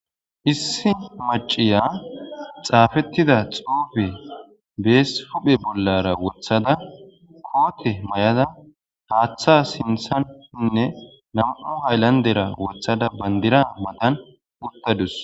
issi maciya xaafettida xuufe bees puphe bollara wothada koote may7ada haaththa sinthanshinne nam7u haylandera wothada bandira madan uttadus